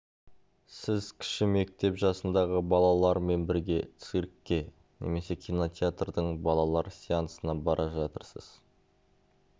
сіз кіші мектеп жасындағы балалармен бірге циркке немесе кинотеатрдың балалар сеансына бара жатырсыз